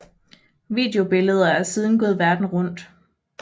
Videobilleder er siden gået verden rundt